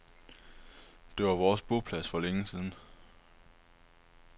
Det var vores boplads for længe siden.